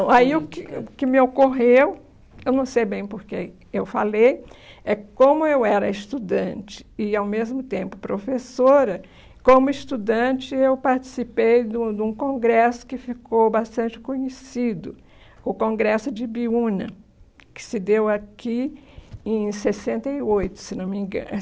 hum, aí O que o que me ocorreu, eu não sei bem por que eu falei, é como eu era estudante e, ao mesmo tempo, professora, como estudante, eu participei de um de um congresso que ficou bastante conhecido, o Congresso de Ibiúna, que se deu aqui em sessenta e oito, se não me